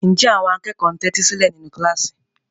Ǹjẹ́ àwọn akẹ́kọ̀ọ́ ń tẹ́tí sílẹ̀ nínú kíláàsì?